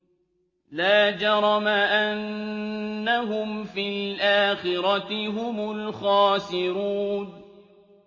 لَا جَرَمَ أَنَّهُمْ فِي الْآخِرَةِ هُمُ الْخَاسِرُونَ